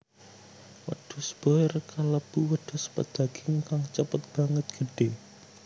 Wedhus boer kalebu wedhus pedaging kang cepet banget gedhé